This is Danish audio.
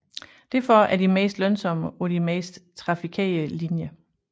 Derfor er de mest lønsomme på de mest trafikerede linjer